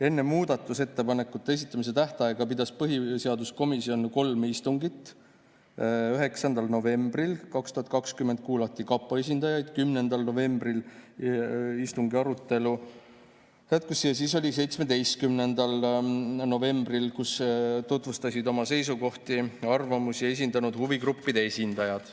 Enne muudatusettepanekute esitamise tähtaega pidas põhiseaduskomisjon kolm istungit: 9. novembril 2020 kuulati kapo esindajaid, 10. novembril arutelu jätkus ja siis oli 17. novembri istung, kus tutvustasid oma seisukohti ja arvamusi huvigruppide esindajad.